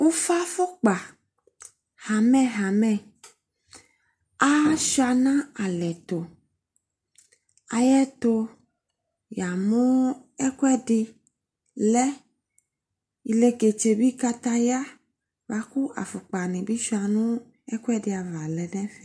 Ufafukpa hamɛhamɛ asua no alɛ to Ayɛto ya mo ekuɛde lɛ Eleketse be kataya ya, boako afokpa ne be sua no ekuɛde ava lɛ no ɛfɛ